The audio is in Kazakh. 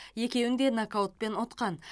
екеуін де нокаутпен ұтқан